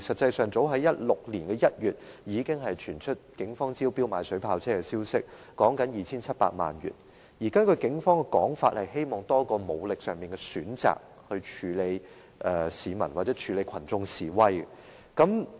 早於2016年1月，已經傳出警方斥資 2,700 萬元招標購買水炮車的消息，警方表示希望多一項武力上的選擇，以處理群眾示威。